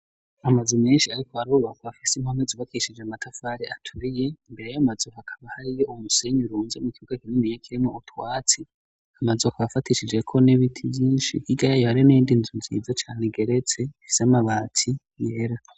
Amazu menshi ariko arubakwa ku bafise impome zubakishije amatafari aturiye mbere yayo mazu akaba hariyo umusenyi urunze mu kibuga kinini ya kirimwo utwatsi .Amazu akaba bafatishijeko n'ibiti vyinshi hirya yayo hari indinzu nziza cane igeretse ifise amabati yera.